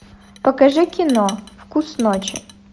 покажи кино вкус ночи